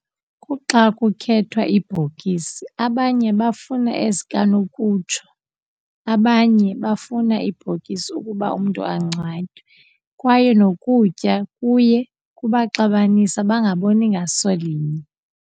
Kuxa kukhethwa ibhokisi abanye bafuna ezikanokutsho, abanye bafuna ibhokisi ukuba umntu angcwatywe. Kwaye nokutya kuye kubaxabanise bangaboni ngaso linye.